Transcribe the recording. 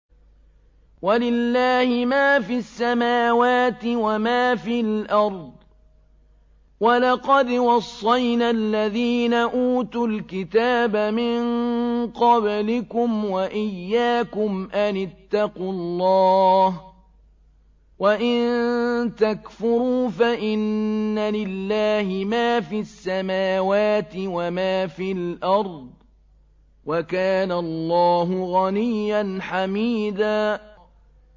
وَلِلَّهِ مَا فِي السَّمَاوَاتِ وَمَا فِي الْأَرْضِ ۗ وَلَقَدْ وَصَّيْنَا الَّذِينَ أُوتُوا الْكِتَابَ مِن قَبْلِكُمْ وَإِيَّاكُمْ أَنِ اتَّقُوا اللَّهَ ۚ وَإِن تَكْفُرُوا فَإِنَّ لِلَّهِ مَا فِي السَّمَاوَاتِ وَمَا فِي الْأَرْضِ ۚ وَكَانَ اللَّهُ غَنِيًّا حَمِيدًا